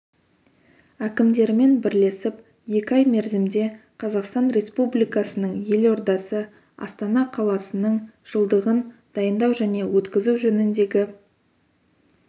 әкімдерімен бірлесіп екі ай мерзімде қазақстан республикасының елордасы астана қаласының жылдығын дайындау және өткізу жөніндегі